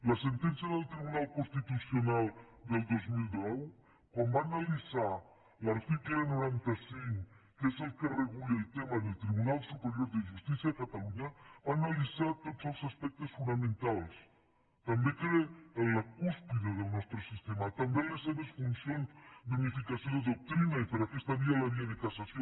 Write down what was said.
la sentència del tribunal constitucional del dos mil deu quan va analitzar l’article noranta cinc que és el que regula el tema del tribunal superior de justícia de catalunya en va analitzar tots els aspectes fonamentals també el que era la cúspide del nostre sistema també les seves funcions d’unificació de doctrina i per aquesta via la via de cassació